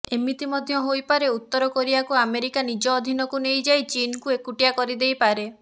ଏମିତି ମଧ୍ୟ ହୋଇପାରେ ଉତ୍ତର କୋରିଆକୁ ଆମେରିକା ନିଜ ଅଧୀନକୁ ନେଇ ଯାଇ ଚୀନକୁ ଏକୁଟିଆ କରିଦେଇପାରେ